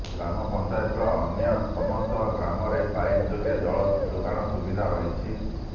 ପଞ୍ଚାୟତର ଅନ୍ୟସମସ୍ତ ଗ୍ରାମରେ ପାଇପ ଯୋଗେ ଜଳ ଯୋଗାଣ ସୁବିଧା ରହିଛି